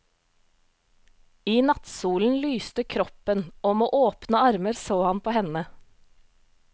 I nattsolen lyste kroppen og med åpne armer så han på henne.